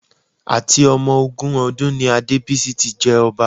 Àti ọmọ ogún ọdún ni Adébísí tí jẹ ọba